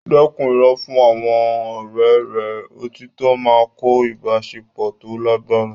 Dẹ́kun irọ́ fún àwọn ọ̀rẹ́ rẹ; Òtítọ́ máa ń kọ́ ìbáṣepọ̀ tó lágbára.